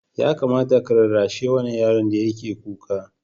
Ya kamata ka rarrashi wannan yaron da yake kuka.